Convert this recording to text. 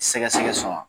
Sɛgɛsɛgɛ sɔn wa